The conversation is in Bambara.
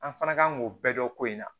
An fana kan k'o bɛɛ dɔn ko in na